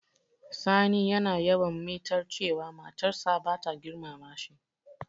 Sani yana yawan mitar cewa matar sa bata girmama shi.